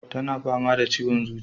Tana fama da ciwon zuciya